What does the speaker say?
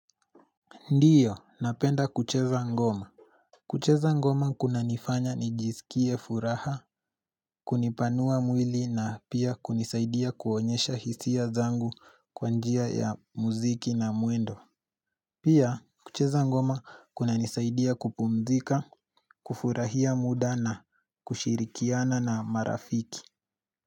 Ndiyo, napenda kucheza ngoma. Kucheza ngoma kunanifanya nijisikie furaha, kunipanua mwili na pia kunisaidia kuonyesha hisia zangu kwa njia ya muziki na muendo. Pia, kucheza ngoma kuna nisaidia kupumzika, kufurahia muda na kushirikiana na marafiki.